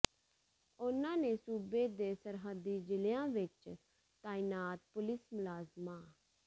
ਉਹਨਾਂ ਨੇ ਸੂਬੇ ਦੇ ਸਰਹੱਦੀ ਜ਼ਿਲਿਆਂ ਵਿਚ ਤਾਇਨਾਤ ਪੁਲਿਸ ਮੁਲਾਜ਼ਮਾਂ